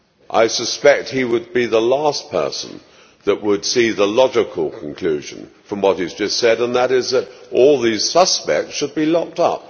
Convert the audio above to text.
I suspect he would be the last person that would see the logical conclusion from what he has just said, and that is that all these suspects should be locked up.